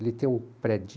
Ali tem um prédio...